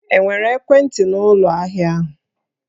E nwere ekwentị n'ụlọ ahịa ahụ?